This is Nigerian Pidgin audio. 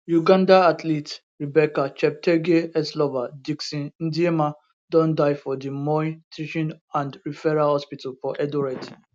uganda athlete rebecca cheptegei exlover dickson ndiema don die for di moi teaching and referral hospital for eldoret